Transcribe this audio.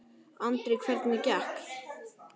Andri: Hvernig gekk?